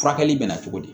Furakɛli bɛ na cogo di